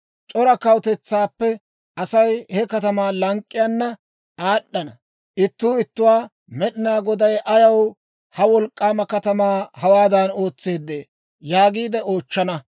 «C'ora kawutetsaappe Asay he katamaa lank'k'iyaana aad'd'ana. Ittuu ittuwaa, ‹Med'inaa Goday ayaw ha wolk'k'aama katamaa hawaadan ootseedee?› yaagiide oochchana.